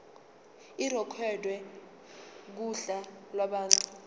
irekhodwe kuhla lwabantu